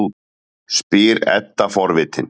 spyr Edda forvitin.